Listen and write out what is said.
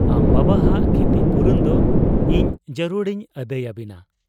ᱟᱢ ᱵᱟᱵᱟᱦᱟᱜ ᱠᱷᱤᱛᱤᱯᱩᱨᱚᱱ ᱫᱚ ᱤᱧ ᱡᱟᱹᱨᱩᱲ ᱤᱧ ᱟᱹᱫᱟᱹᱭ ᱟᱹᱵᱤᱱᱟ ᱾